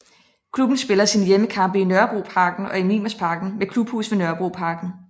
Klubben spiller sine hjemmekampe i Nørrebroparken og i Mimersparken med klubhus ved Nørrebroparken